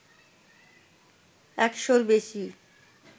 একশোর বেশী